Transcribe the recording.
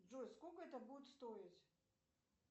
джой сколько это будет стоить